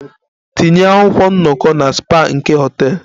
Tinye akwụkwọ nnọkọ na spa nke hotel!